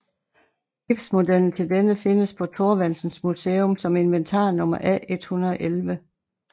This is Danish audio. Gipsmodellen til denne findes på Thorvaldsens Museum som inventarnummer A111